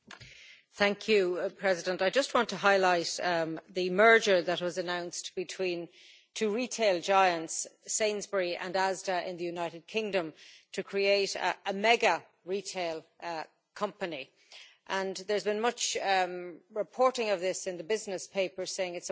Mr President, I just want to highlight the merger that was announced between two retail giants, Sainsbury and Asda in the United Kingdom, to create a mega retail company and there has been much reporting of this in the business papers saying it's a wonderful thing.